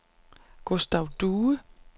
Gustav Due